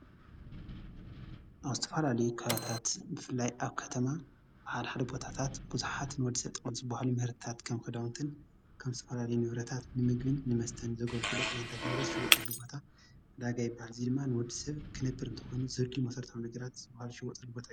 ኣብ ዝተፈላለዩ ከባቢታት ብፍላይ ኣብ ከተማ ሓደ ሓደ ቦታታት ብዙሓት ንወዲ ሰብ ጠቐምቲ ዝባሃሉ ምህርትታት ከም ክዳውንትን ከም ዝተፈላለዩ ንብረታት ንምግብን ንመስተን ዘገልግሉ ዓይነታት ንብረት ዝሽወጠሉ ቦታ ዕዳጋ ይበሃል፡፡ እዚ ድማ ንወዲ ሰብ ክነብር እንተኾይኑ ዘድልዩዎ መሰረታዊ ነገራት ዝሽወጠሉ ቦታ እዩ፡፡